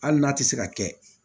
Hali n'a tɛ se ka kɛ